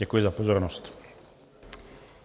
Děkuji za pozornost.